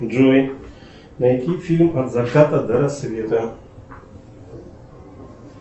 джой найти фильм от заката до рассвета